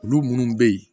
Olu minnu bɛ yen